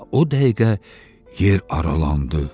Elə o dəqiqə yer aralandı.